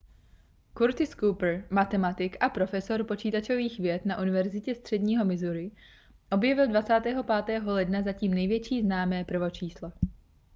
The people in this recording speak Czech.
curtis cooper matematik a profesor počítačových věd na univerzitě středního missouri objevil 25. ledna zatím největší známé prvočíslo